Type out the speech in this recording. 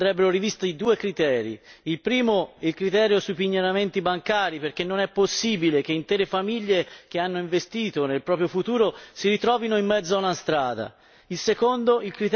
Per questo, a mio avviso, andrebbero rivisti i due criteri il primo, il criterio sui pignoramenti bancari, perché non è possibile che intere famiglie che hanno investito nel proprio futuro si ritrovino in mezzo ad una strada